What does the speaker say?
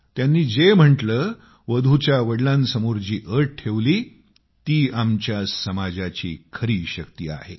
त्यांनी जे म्हटले वधूच्या वडिलांसमोर जी अट ठेवली ती आमच्या समाजाची खरी शक्ती आहे